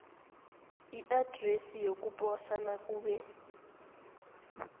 iadresi yokuposa nakube